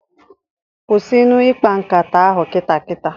Kwụsịnụ ikpa nkata ahụ kita kita!